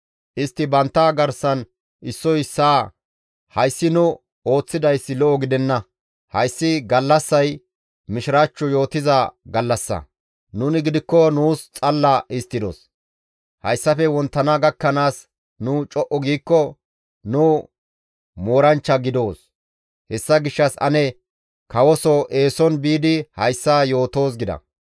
Istti bantta garsan issoy issaa, «Hayssi nu ooththidayssi lo7o gidenna; hayssi gallassay mishiraachcho yootiza gallassa; nuni gidikko nuus xalla histtidos. Hayssafe wonttana gakkanaas nu co7u giikko nu mooranchcha gidoos; hessa gishshas ane kawoso eeson biidi hayssa yootoos» gida.